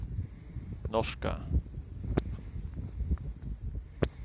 norske